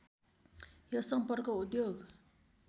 यो सम्पर्क उद्योग